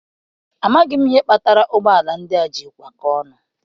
Amaghị m ihe mere ụgbọala ndị a ji kwa kọọ ọnụ.